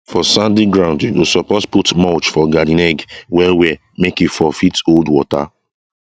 for sandy ground you go suppose put mulch for garden egg well well make e for fit hold water